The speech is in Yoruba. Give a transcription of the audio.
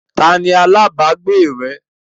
Ta ni alágbàágbé rẹ?